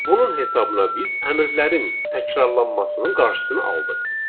Bunun hesabına biz əmrlərin təkrarlanmasının qarşısını aldıq.